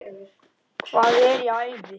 Hvað er í ævi?